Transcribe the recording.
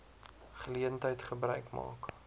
geleentheid gebruik maak